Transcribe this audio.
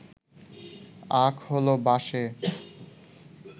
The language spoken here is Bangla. আখ হল বাঁশএ